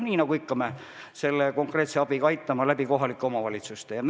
Eks me ikka niisuguse konkreetse abiga aitame kohalike omavalitsuste kaudu.